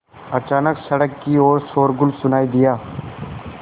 अचानक सड़क की ओर शोरगुल सुनाई दिया